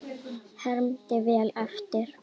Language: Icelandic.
Hermdi vel eftir.